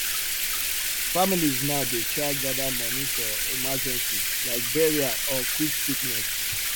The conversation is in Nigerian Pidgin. families now dey try gather money for emergency like burial or quick sickness